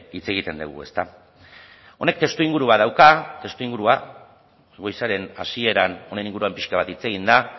hitz egiten dugu ezta honek testuingurua dauka testuingurua goizaren hasieran honen inguruan pixka bat hitz egin da